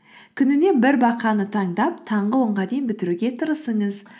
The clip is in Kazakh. күніне бір бақаны таңдап таңғы онға дейін бітіруге тырысыңыз